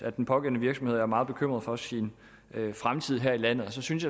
at den pågældende virksomhed er meget bekymret for sin fremtid her i landet og så synes